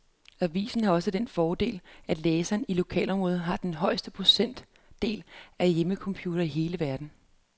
Avisen har også den fordel, at læserne i lokalområdet har den højeste procentdel af hjemmecomputere i hele verden.